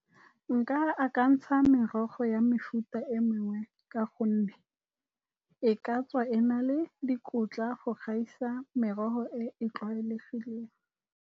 Nka akantsha merogo ya mefuta e mengwe, ka gonne e ka tswa e na le dikotla go gaisa merogo e e tlwaelegileng.